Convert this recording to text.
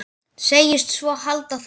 Segist svo halda það.